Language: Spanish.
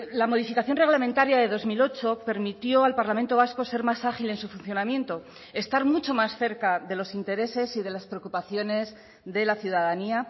la modificación reglamentaria de dos mil ocho permitió al parlamento vasco ser más ágil en su funcionamiento estar mucho más cerca de los intereses y de las preocupaciones de la ciudadanía